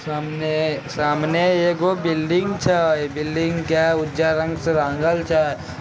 सामने एगो बिल्डिंग छे बिल्डिंग के उजर रंग से रंगल छे।